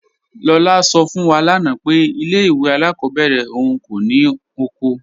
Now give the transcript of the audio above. Lọla sọ fún wá lánà pé ilẹ̀ ìwé alákọbèrè ọ̀un kò ní oko.